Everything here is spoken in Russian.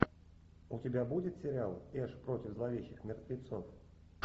у тебя будет сериал эш против зловещих мертвецов